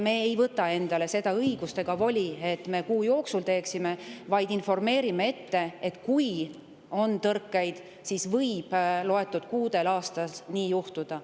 Me ei võta endale seda õigust ega voli, et me seda kuu jooksul teeksime, vaid me informeerime ette, et kui on tõrkeid, siis võib loetud kuudel aastas nii juhtuda.